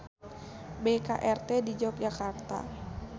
BKRT di Yogyakarta.